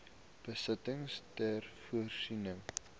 besittings ter voorsiening